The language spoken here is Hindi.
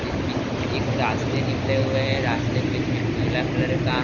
इस बीच एक रस्ते निकले हुए हैं रास्ते के बीच में उजला कलर का --